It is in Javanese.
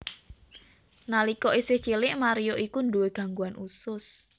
Nalika isih cilik Mario iku nduwé gangguan usus